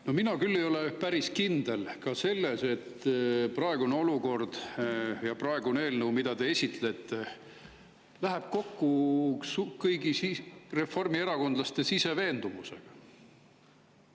No mina küll ei ole päris kindel ka selles, et praegune olukord ja praegune eelnõu, mida te esitlete, läheb kokku kõigi reformierakondlaste sisemise veendumusega.